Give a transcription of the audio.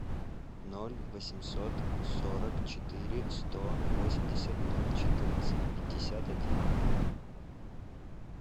ноль восемьсот сорок четыре сто восемьдесят ноль четырнадцать пятьдесят один